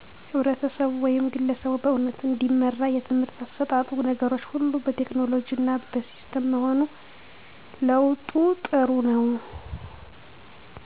ህብረተሰቡ ወይም ግለሰቡ በእዉት እንዲመራ የትምህርት አሰጣጡ ነገሮች ሁሉ በቴክኖሎጅ እና በሲስተም መሆኑ ለዉጡ ጥሩነዉ